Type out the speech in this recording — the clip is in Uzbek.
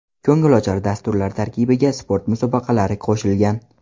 Ko‘ngilochar dasturlar tarkibiga sport musobaqalari qo‘shilgan.